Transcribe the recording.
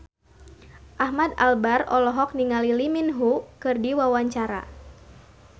Ahmad Albar olohok ningali Lee Min Ho keur diwawancara